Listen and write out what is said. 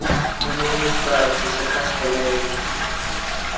Hann nemur staðar til að kasta mæðinni.